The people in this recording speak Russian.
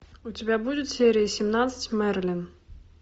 у тебя будет серия семнадцать мерлин